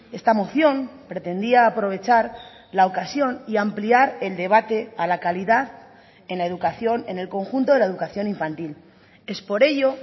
esta moción pretendía aprovechar la ocasión y ampliar el debate a la calidad en la educación en el conjunto de la educación infantil es por ello